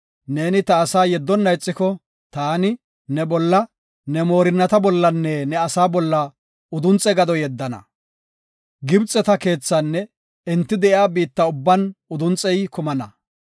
Neeni ta asaa yeddona ixiko, taani, ne bolla, ne moorinnata bollanne, ne asaa bolla udunxe gado yeddana. Gibxeta keethaanne enti de7iya biitta ubban udunxey kumana.